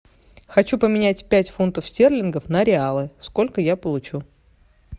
хочу поменять пять фунтов стерлингов на реалы сколько я получу